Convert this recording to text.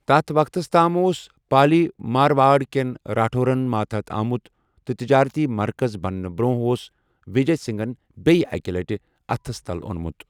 تَتھ وَقتَس تام، اوس پالی مارواڑ كین راٹھورَن ماتحت آمُت ، تہٕ بجٲرتی مَرکَز بَننہٕ برونٛہہ اوس وِجے سِنٛگھن بیٛیہِ اَکہِ لَٹہِ اَتھس تل اونمُت ۔